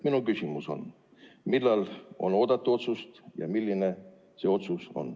Minu küsimus on, et millal on oodata otsust ja milline see otsus on.